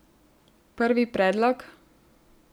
Prvi predlog?